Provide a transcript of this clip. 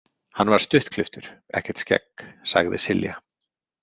Hann var stuttklipptur, ekkert skegg, sagði Silja.